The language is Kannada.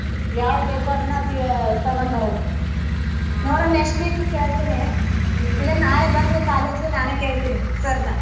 ಯಾವ್ದ್ ಬೇಕೋ ಅದನ್ನ ತೀ~ ತಗೊಂಡ್ ಬರೋದ್ ನೋಡನ್ next week ಗ್ ಕೇಳ್ತೀನಿ ಇಲ್ಲಾ ನಾಳೆ ಬಂದ್ರೆ college ಗೆ ನಾನೇ ಕೇಳ್ತೀನಿ sir ನ.